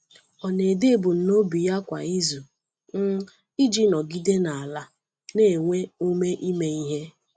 Ọ na-ede ebumnobi ya kwa izu um iji nọgide n’ala na nwee ume ime ihe.